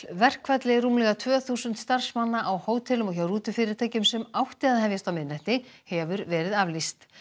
verkfalli rúmlega tvö þúsund starfsmanna á hótelum og hjá rútufyrirtækjum sem átti að hefjast á miðnætti hefur verið aflýst